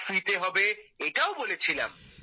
card free তে হবে এটাও বলেছিলাম